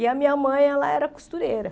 E a minha mãe ela era costureira.